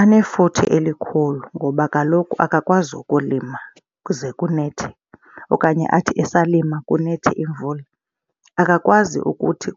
Anefuthe elikhulu ngoba kaloku akakwazi ukulima kuze kunethe okanye athi esalima kunethe imvula. Akakwazi ukuthi